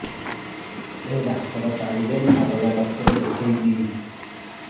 ଏଇ ଡ଼ାକ୍ତର ପାରିବେ ନା ଅଲଗା ଡ଼ାକ୍ତର ଦେଖେଇବି